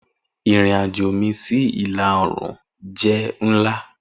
Irin ajo mi si ila-oorun jẹ nla.